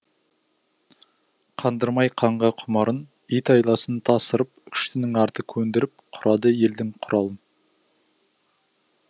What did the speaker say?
қандырмай қанға құмарын ит айласын тасырып күштінің арты көндіріп құрады елдің құралын